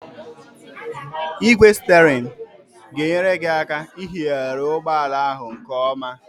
Ị́gwè stierinu ga-enyere gị aka ihighari ụgbọala ahụ nkeọma.